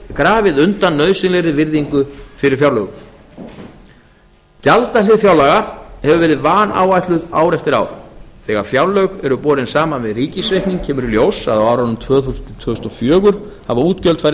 grafið undan nauðsynlegri virðingu fyrir fjárlögum gjaldahlið fjárlaga hefur verið vanáætluð ár eftir ár þegar fjárlög eru borin saman við ríkisreikning kemur í ljós að á árunum tvö þúsund til tvö þúsund og fjögur hafa útgjöld farið